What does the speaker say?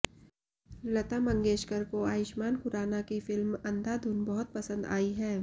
लता मंगेशकर को आयुष्मान खुराना की फिल्म अंधाधुन बहुत पसंद आई है